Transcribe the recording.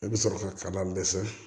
I bɛ sɔrɔ ka dɛsɛ